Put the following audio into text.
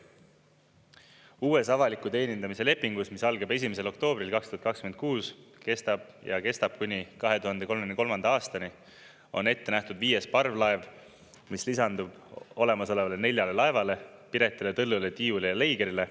Uues avaliku teenindamise lepingus, mis algab 1. oktoobril 2026 ja kestab kuni 2033. aastani, on ette nähtud viies parvlaev, mis lisandub olemasolevale neljale laevale Piretile, Tõllule, Tiiule ja Leigerile.